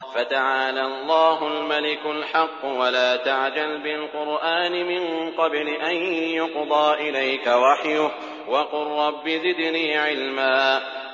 فَتَعَالَى اللَّهُ الْمَلِكُ الْحَقُّ ۗ وَلَا تَعْجَلْ بِالْقُرْآنِ مِن قَبْلِ أَن يُقْضَىٰ إِلَيْكَ وَحْيُهُ ۖ وَقُل رَّبِّ زِدْنِي عِلْمًا